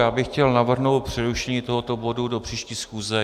Já bych chtěl navrhnout přerušení tohoto bodu do příští schůze.